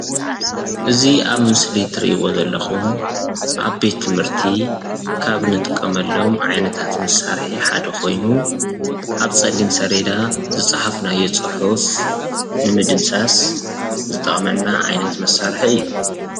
እዚ ኣብ ምስሊ ትሪእዎ ዘለኩም ኣብ ቤት ትምርቲ ካብ ንጥቀመሎም ዓይነታት መሳርሒ ሓደ ኮይኑ ኣብ ፀሊም ስሌዳ ዝፅሓፍናዮ ፅሑፍ ንምድምሳስ ዝጠቅመና ዓይነት መሳርሒ እዩ ።